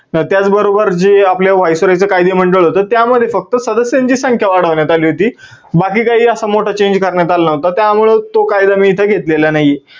त्याच बरोबर जे आपल viceroy च कायदे मंडळ होत त्यामध्ये फक्त सदस्यांची संख्या वाढवण्यात आली होती. बाकी काही असा मोठा change करण्यात आला नव्हता, त्यामुळे तो कायदा मी इथं घेतलेला नाही आहे.